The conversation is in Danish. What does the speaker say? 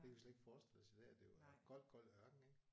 Det kan vi slet ikke forestille os i dag er det jo er gold gold ørken ik